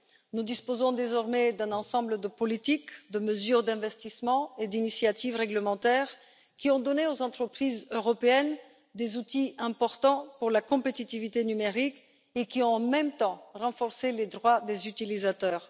Nous disposons désormais d'un ensemble de politiques, de mesures d'investissements et d'initiatives réglementaires qui ont donné aux entreprises européennes des outils importants pour la compétitivité numérique et qui, en même temps, ont renforcé les droits des utilisateurs.